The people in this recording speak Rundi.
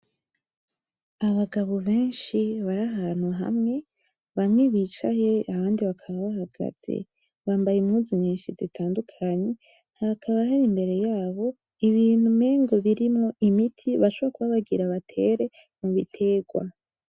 Abagabo benshi bari ahantu hamwe, bamwe bicaye abandi bakaba bahagaze, bambaye impuzu nyinshi zitandukanye ,hakaba hari imbere yabo ibintu umengo birimwo imiti bashobora kuba bagira batere ibitegwa.